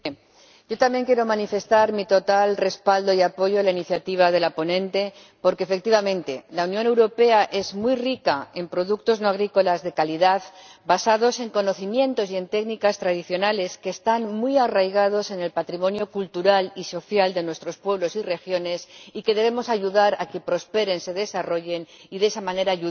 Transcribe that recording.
Señor Presidente, yo también quiero manifestar mi total respaldo y apoyo a la iniciativa de la ponente, porque, efectivamente, la Unión Europea es muy rica en productos no agrícolas de calidad, basados en conocimientos y en técnicas tradicionales que están muy arraigados en el patrimonio cultural y social de nuestros pueblos y regiones, y que debemos ayudar a que prosperen y se desarrollen, contribuyendo de esa manera